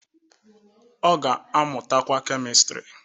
Ọ ga-amụtakwa Kemịstrị